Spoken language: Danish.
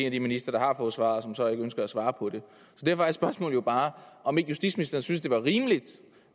af de ministre der har fået svaret og som så ikke ønsker at svare på det derfor er spørgsmålet bare om ikke justitsministeren synes det er rimeligt